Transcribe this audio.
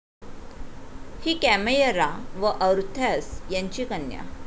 हि कैमायरा व और्थास यांची कन्या.